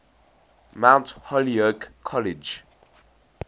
mount holyoke college